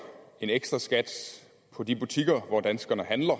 en ekstraskat på de butikker hvor danskerne handler